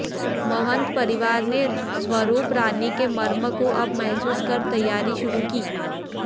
महंत परिवार ने स्वरुप रानी के मर्म को अब महसूस कर तैयारी शुरु की